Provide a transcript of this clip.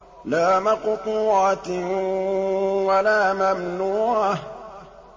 لَّا مَقْطُوعَةٍ وَلَا مَمْنُوعَةٍ